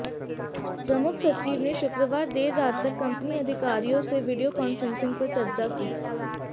प्रमुख सचिव ने शुक्रवार देर रात तक कंपनी अधिकारियों से वीडियो कॉन्फ्रेंसिंग पर चर्चा की